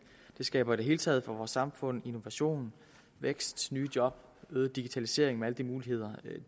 det skaber i det hele taget for vores samfund innovation vækst nye job og øget digitalisering med alle de muligheder